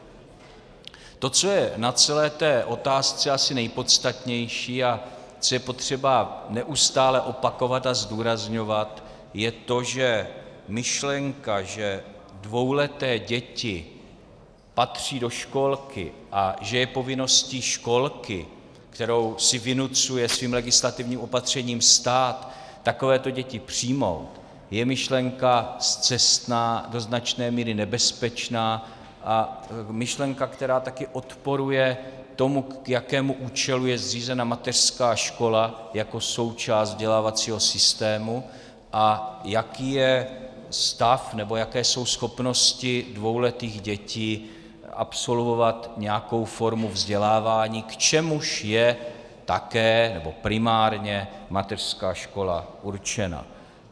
To, co je na celé té otázce asi nejpodstatnější a co je potřeba neustále opakovat a zdůrazňovat, je to, že myšlenka, že dvouleté děti patří do školky a že je povinností školky, kterou si vynucuje svým legislativním opatřením stát, takovéto děti přijmout, je myšlenka scestná, do značné míry nebezpečná a myšlenka, která taky odporuje tomu, k jakému účelu je zřízena mateřská škola jako součást vzdělávacího systému, a jaký je stav nebo jaké jsou schopnosti dvouletých dětí absolvovat nějakou formu vzdělávání, k čemuž je také nebo primárně mateřská škola určena.